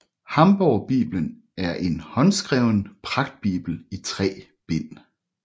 Hamborgbibelen er en håndskreven pragtbibel i tre bind